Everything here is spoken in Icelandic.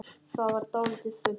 Það varð dálítið þunnt.